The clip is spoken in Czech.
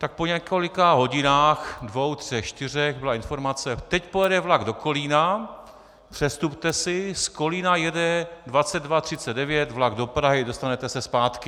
Tak po několika hodinách, dvou, třech, čtyřech, byla informace: Teď pojede vlak do Kolína, přestupte si, z Kolína jede 22.39 vlak do Prahy, dostanete se zpátky.